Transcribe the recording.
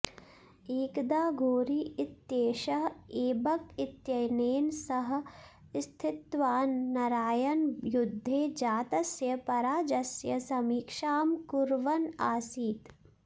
एकदा घोरी इत्येषः ऐबक् इत्यनेन सह स्थित्वा नरायनयुद्धे जातस्य पराजयस्य समीक्षां कुर्वन् आसीत्